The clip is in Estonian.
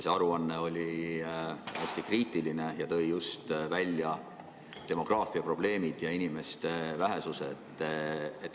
See aruanne oli hästi kriitiline ja tõi välja just demograafiaprobleemid, inimeste vähesuse.